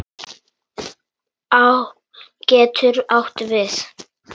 Á getur átt við